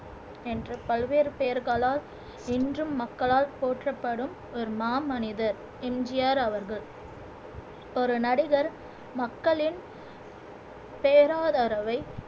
என்று பல்வேறு பெயர்களால் இன்றும் மக்களால் போற்றப்படும் ஒரு மாமனிதர் எம் ஜி ஆர் அவர்கள் ஒரு நடிகர் மக்களின் பேராதரவை